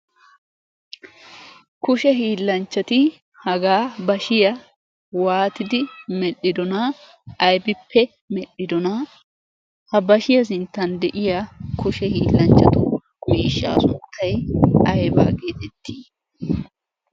kushe hiillanchchati hagaa bashiya waatidi medhdhidona aybippe medhdhidona ha bashiyaa sinttan de'iya kushe hiillanchchatu miishshaa sunttay aybaa geexittii